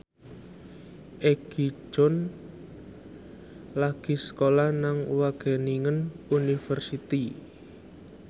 Egi John lagi sekolah nang Wageningen University